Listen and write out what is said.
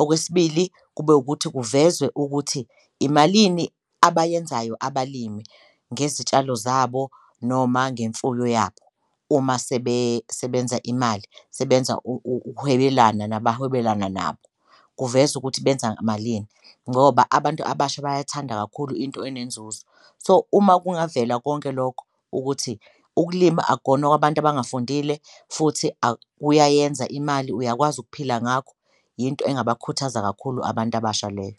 Okwesibili, kube wukuthi kuvezwe ukuthi imalini abayenzayo abalimi ngezitshalo zabo noma ngemfuyo yabo uma sebenza imali sebenza ukuhwebelana nabahwebelana nabo, kuvezwe ukuthi benza malini ngoba abantu abasha bayathanda kakhulu into enenzuzo. So, uma kungavela konke lokho ukuthi ukulima akona okwabantu abangafundile futhi kuyayenza imali uyakwazi ukuphila ngakho, into engabakhuthaza kakhulu abantu abasha leyo.